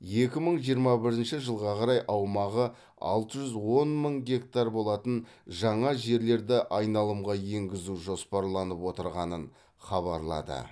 екі мың жиырма бірінші жылға қарай аумағы алты жүз он мың гектар болатын жаңа жерлерді айналымға енгізу жоспарланып отырғанын хабарлады